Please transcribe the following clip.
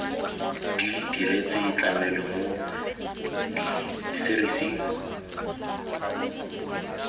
di diretswe tlamelo mo diserising